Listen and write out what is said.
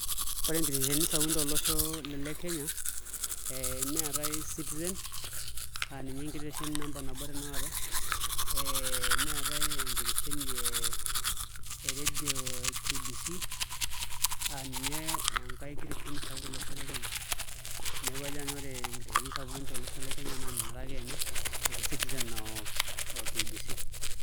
Ore nkiteshenini sapukin tolosho le Kenya neetai Citizen aa ninye enkiteshoni namaba nabo tanakata ee neetai enkitesheni ee redio e KBC, neeku kajo nanu ore nkiteshoni sapukin tolosho le Kenya naa nena are akeenye etii Citizen o KBC.